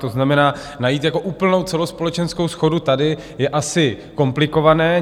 To znamená, najít jako úplnou celospolečenskou shodu tady je asi komplikované.